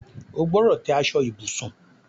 O gbọdọ̀ tẹ́ aṣọ ibùsùn